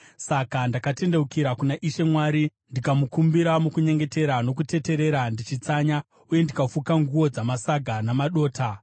Saka ndakatendeukira kuna Ishe Mwari ndikamukumbira mukunyengetera nokuteterera, ndichitsanya, uye ndikafuka nguo dzamasaga namadota.